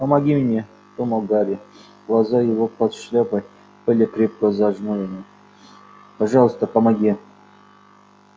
помоги мне думал гарри глаза его под шляпой были крепко зажмурены пожалуйста помоги